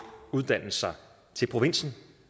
uddannelser til provinsen